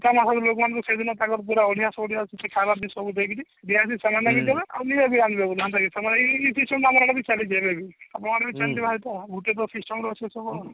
ଲୋକମାନଙ୍କୁ ସେଇଦିନ ପୁରା ସବୁ ଦେଇକିରି ଦେବେ ଆଉ ନିଜେ ବି ଆନିବେ ଆମର ବି ସେଣ୍ଟି ହୁଏ ତ ଗୁଟେ ପ୍ରକାର system ରେ ଅଛି ସବୁ ଆଉ